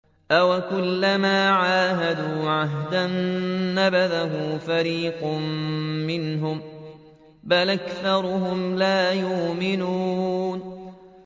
أَوَكُلَّمَا عَاهَدُوا عَهْدًا نَّبَذَهُ فَرِيقٌ مِّنْهُم ۚ بَلْ أَكْثَرُهُمْ لَا يُؤْمِنُونَ